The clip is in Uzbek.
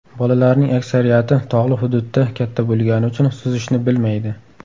Bolalarning aksariyati tog‘li hududda katta bo‘lgani uchun suzishni bilmaydi.